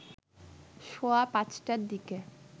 সোয়া ৫টার দিকে